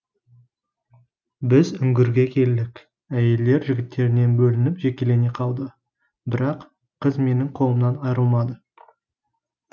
біз үңгірге келдік әйелдер жігіттерінен бөлініп жекелене қалды бірақ қыз менің қолымнан айрылмады